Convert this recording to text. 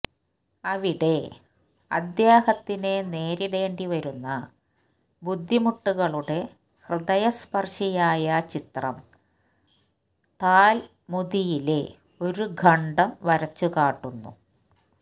അവിടെ അദ്ദേഹത്തിന് നേരിടേണ്ടി വരുന്ന ബുദ്ധിമുട്ടുകളുടെ ഹൃദയസ്പർശിയായ ചിത്രം താൽമുദിലെ ഒരു ഖണ്ഡം വരച്ചുകാട്ടുന്നു